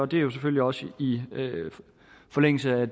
det er jo selvfølgelig også i forlængelse af